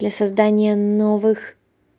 для создания новых